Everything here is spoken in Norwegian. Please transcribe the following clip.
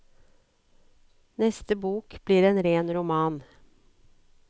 Neste bok blir en ren roman.